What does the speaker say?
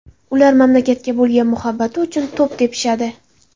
Ular mamlakatga bo‘lgan muhabbati uchun to‘p tepishadi.